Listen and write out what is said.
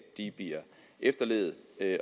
bliver efterlevet